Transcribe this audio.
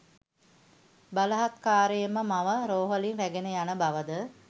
බලහත්කාරයෙන් මව රෝහලින් රැගෙන යන බවද